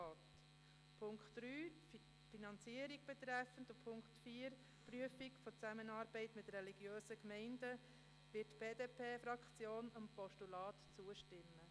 Bei Punkt 3 zur Finanzierung und bei Punkt 4 zur Prüfung einer Zusammenarbeit mit religiösen Gemeinden wird die BDP-Fraktion einem Postulat zustimmen.